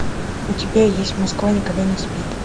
у тебя есть москва никогда не спит